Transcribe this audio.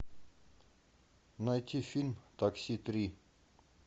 найти фильм такси три